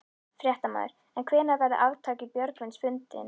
Fréttamaður: En hvenær verður arftaki Björgvins fundinn?